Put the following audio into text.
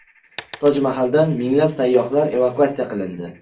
Toj Mahaldan minglab sayyohlar evakuatsiya qilindi.